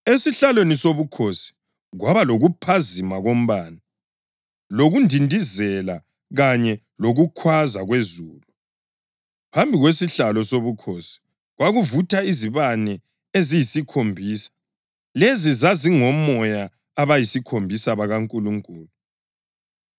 Esihlalweni sobukhosi kwaba lokuphazima kombane, lokundindizela kanye lokukhwaza kwezulu. Phambi kwesihlalo sobukhosi kwakuvutha izibane eziyisikhombisa. Lezi zazingomoya abayisikhombisa bakaNkulunkulu.